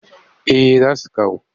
Eh za su kawo